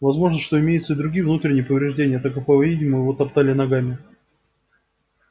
возможно что имеются и другие внутренние повреждения так как по видимому его топтали ногами